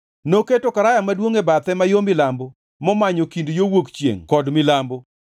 Ne oketo Karaya Maduongʼ e bathe ma yo milambo momanyo kind yo wuok chiengʼ kod milambo.